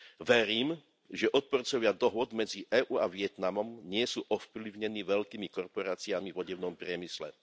Verím, že odporcovia dohôd medzi EÚ a Vietnamom nie sú ovplyvnení veľkými kooperáciami v odevnom priemysle.